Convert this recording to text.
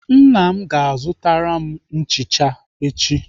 Nna m ga-azụtara m nchicha echi.